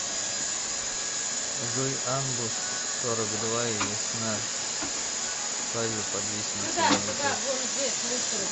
джой анбу сорок два и весна свадьба под виселицей на ютуб